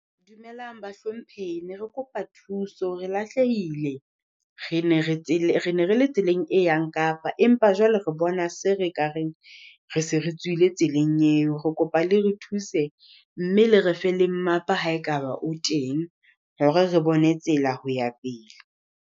Dumelang bahlomphehi, ne re kopa thuso re lahlehile. Re ne re le tseleng e yang Kapa, empa jwale re bona se re ka re se re tswile tseleng eo. Re kopa le re thuse, mme le re fe le mmapa haekaba o teng hore re bone tsela ho ya pele.